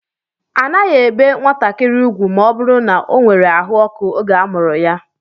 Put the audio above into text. A naghi ébé nwatakịrị ugwu ma ọ bụrụ na o nwèrè àhú ọkụ oge a mụrụ ya